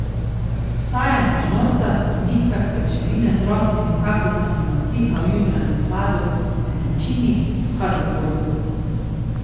Vsa je na žnorcah in nitkah pajčevine z rosnimi kapljicami navdiha v jutranjem hladu, mesečini, kadar koli.